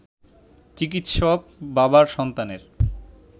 চিকিৎসক বাবার সন্তানের